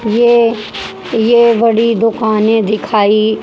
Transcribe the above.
ये ये बड़ी दुकान दिखाई।